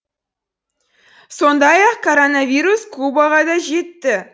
сондай ақ коронавирус кубаға да жетті